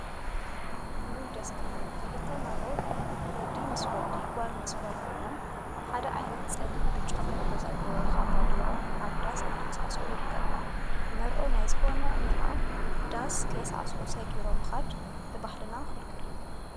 እውይ ደስ ክብሉ! ክልተ መርዑ ወዲ ምሰ ወዲ ጓል ምስ ጓል ኮይኖም ሓደ ዓይነት ፀሊምን ብጫን ሕብሪ ዘለዎ ካባ ገይሮም አብ ዳስ እናሳዕስዑ ይርከቡ፡፡ መርዑ ናይ ዝኮነ መርዓ ዳስ ከይሳዕስዑ ሰጊሮም ምካድ ብባህልና ክልክል እዩ፡፡